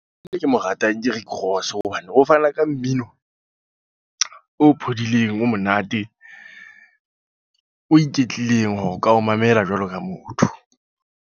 E ke mo ratang ke Rick Ross, hobane ho fana ka mmino o phodileng, o monate. O iketlileng hore o ka o mamela jwalo ka motho.